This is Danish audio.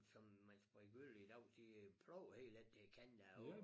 Som man spreder gylle i dag de øh pløjer helt hen til kanten af åen